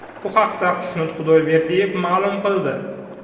Bu haqda Xushnud Xudoberdiyev ma’lum qildi .